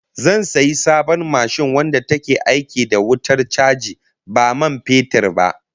Zan sayi sabon mashin wadda take aiki da wutar chaji ba man fetur ba